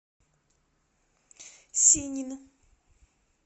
синин